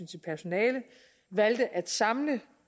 til personalet valgte at samle